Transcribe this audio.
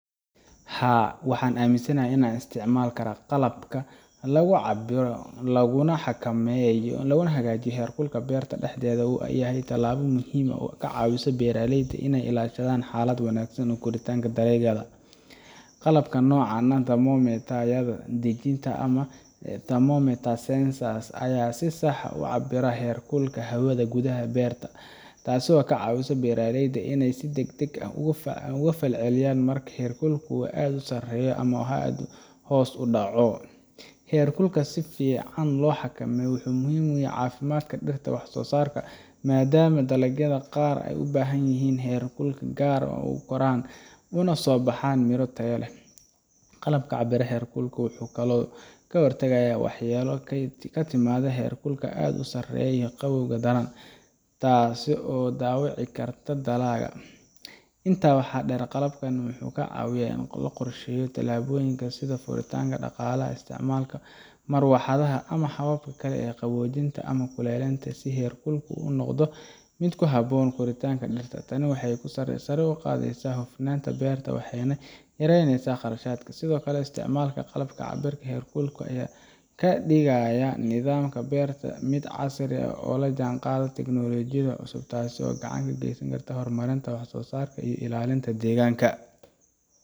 Haa, waxaan aaminsanahay in aan isticmaalno qalab lagu cabbiro, lagu xakameeyo, laguna hagaajiyo heerkulka beerta dhexdeeda. Waa tallaabo muhiim ah oo ka caawisa beeraleyda in ay ilaashadaan xaalad wanaagsan oo koritaanka dalagyada. Qalabka noocan ah sida thermometer ama thermometer sensors ayaa si sax ah u cabbira heerkulka hawada gudaha ee beerta. Tani waxay ka caawisaa beeraleyda in ay si degdeg ah uga falceliyaan marka heerkulku aad u sarreeyo ama hoos u dhaco. Heerkulka si fiican loo xakameeyo maxaa uu muhiim u yahay dalagyada? Heerkulku wuxuu saameyn weyn ku leeyahay wax-soo-saarka, maadaama dalagyada qaar u baahan yihiin heerkul gaar ah si ay ugu koraan si caafimaad leh uguna soo baxaan miro tayo leh. Qalabka cabbira heerkulka wuxuu sidoo kale ka hortagayaa waxyeelo ka timaadda kuleylka aad u sarreeya ama qabowga daran, taas oo dhaawici karta dalagga. Intaa waxaa dheer, qalabkan wuxuu caawiyaa qorsheynta tallaabooyinka sida furitaanka daaqadaha, isticmaalka marawaxadaha, ama habab kale oo qaboojinta ama kuleylinta si heerkulku u noqdo mid ku habboon koritaanka dhirta. Tani waxay sare u qaadaysaa wax-soo-saarka, waxayna yareynaysaa qarashaadka. Sidoo kale, isticmaalka qalabka cabbira heerkulka wuxuu ka dhigayaa nidaamka beerta mid casri ah oo la jaanqaadaya technolojiyada cusub, taas oo gacan ka geysaneysa wax-soo-saarka iyo ilaalinta deegaanka.